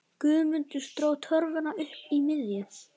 Guðmundur dró torfuna upp í miðju.